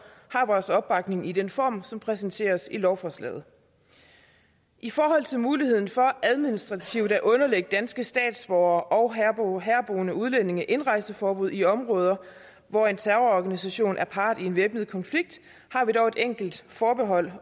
har vores opbakning i den form som præsenteres i lovforslaget i forhold til muligheden for administrativt at underlægge danske statsborgere og herboende udlændinge indrejseforbud i områder hvor en terrororganisation er part i en væbnet konflikt har vi dog et enkelt forbehold